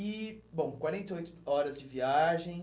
E, bom, quarenta e oito horas de viagem.